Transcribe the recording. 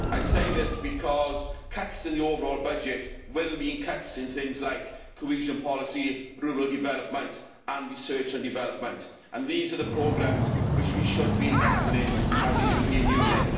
I say this because cuts in the overall budget will mean cuts in things like cohesion policy, rural development, research and development and these are the programmes which we should be investing in as a European Union.